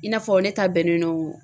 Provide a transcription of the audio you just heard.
I n'a fɔ ne ta bɛnnen don.